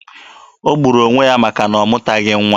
O gburu onwe ya maka na ọ mụtaghị nwa.